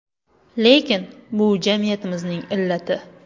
Lekin bu jamiyatimizning illati.